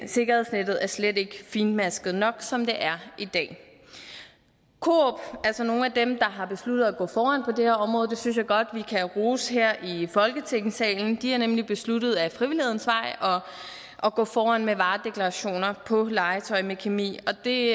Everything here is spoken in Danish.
sikkerhedsnettet er slet ikke fintmasket nok som det er i dag coop altså nogle af dem der har besluttet at gå foran på det her område det synes jeg godt vi kan rose her i folketingssalen har nemlig besluttet ad frivillighedens vej at gå foran med varedeklarationer på legetøj med kemi og det